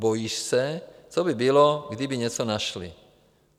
Bojíš se, co by bylo, kdyby něco našli.